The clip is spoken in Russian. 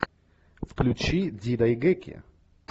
включи дзидайгэки